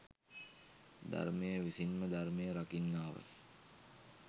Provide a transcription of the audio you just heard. ධර්මය විසින්ම ධර්මය රකින්නාව